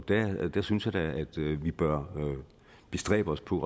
der synes jeg da at vi bør bestræbe os på